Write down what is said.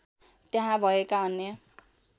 त्यहाँ भएका अन्य